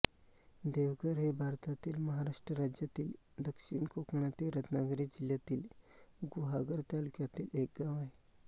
देवघर हे भारतातील महाराष्ट्र राज्यातील दक्षिण कोकणातील रत्नागिरी जिल्ह्यातील गुहागर तालुक्यातील एक गाव आहे